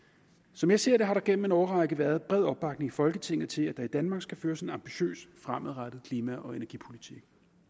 som jeg ser det har der gennem en årrække været bred opbakning i folketinget til at der i danmark skal føres en ambitiøs fremadrettet klima og energipolitik